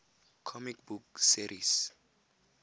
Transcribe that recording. comic book series